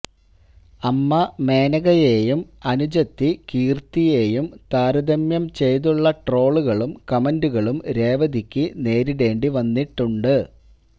അമ്മ മേനകയെയും അനുജത്തി കീർത്തിയെയും താരതമ്യം ചെയ്തുളള ട്രോളുകളും കമന്റുകളും രേവതിക്ക് നേരിടേണ്ടി വന്നിട്ടുണ്ട്